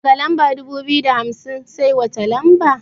Daga lamba dubu biyu da hamsin sai wata lamba?